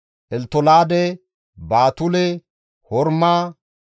Elttolaade, Baatule, Horma,